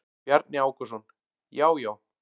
Bjarni Ákason: Já já.